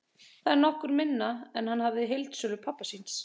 Það er nokkru minna en hann hafði í heildsölu pabba síns.